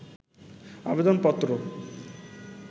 আবেদন পত্র